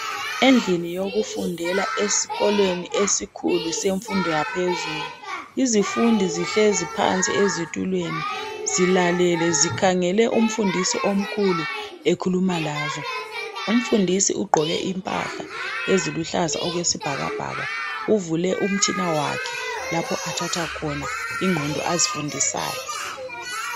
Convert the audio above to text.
Endlini yokufundela esikolweni esikhulu semfundo yaphezulu izifundi zihlezi phansi ezitulweni zilale, zikhangele umfundisi omkhulu ekhuluma lazo. Umfundisi ugqoke impahla eziluhlaza okwesibhakabhaka ,buvule umtshina wakhe lapho athatha khona ingqondo azifundisayo.